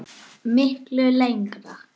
Miklu lengra.